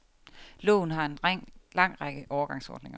Loven har en lang række overgangsordninger.